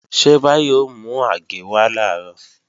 Ṣé Báyọ̀ ó mú àgé wá làárọ̀?